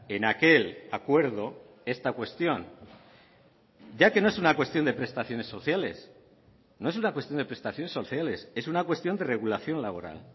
en aquel acuerdo esta cuestión ya que no es una cuestión de prestaciones sociales no es una cuestión de prestaciones sociales es una cuestión de regulación laboral